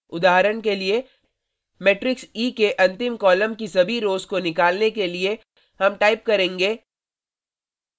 उदाहरण के लिए मेट्रिक्स e के अंतिम कॉलम की सभी रोज़ rows को निकालने के लिए हम टाइप करेंगे